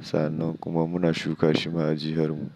Sa'an nan kuma muna shuka shi ma a jiharmu.